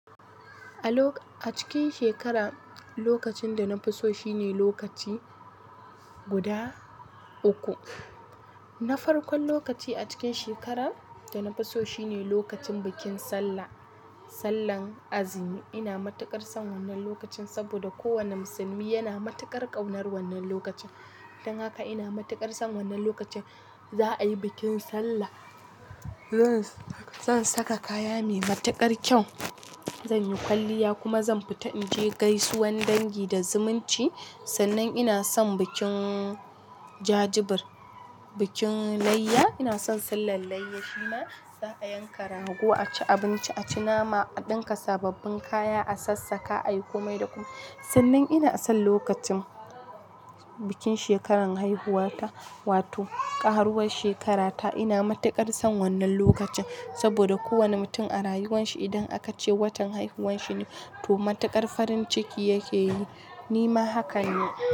A lok-- a cikin shekara, lokacin da na fi so shine lokaci guda uku. Na farkon lokaci a cikin shekarar da na fi so shine lokacin bikin sallah, sallan azumi. Ina matuƙar son wannan lokacin saboda kowane musulmi yana matuƙar ƙaunar wannan lokacin. Don haka ina matuƙar son wannan lokacin. Za a yi bikin sallah. Zan, zan saka kaya mai matuƙar kyau. Zan yi kwalliya kuma zan fita in je gaisuwan dangi da zumunci. Sannan ina son bikin jajibir, bikin layya. Ina son sallan layya. Shima za a yanka rago, a ci abinci, a ci nama, a ɗinka sababbin kaya, a sassaƙa, a yi komai da komai. Sannan ina son lokacin bikin shekarar haihuwata, wato ƙaruwar shekarata. Ina matuƙar son wannan lokacin saboda kowane mutum a rayuwarsa idan aka ce watan haihuwarshi ne, to matuƙar farin ciki yake yi. Ni ma haka ne.